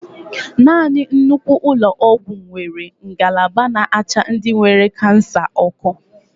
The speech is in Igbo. Nanị nnukwu ụlọ ọgwụ nwere ngalaba n'acha ndị nwere kansa ọkụ.